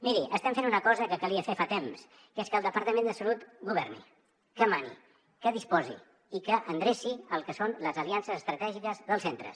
miri estem fent una cosa que calia fer fa temps que és que el departament de salut governi que mani que disposi i que endreci el que són les aliances estratègiques dels centres